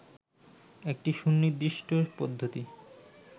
একটি সুনির্দিষ্ট পদ্ধতি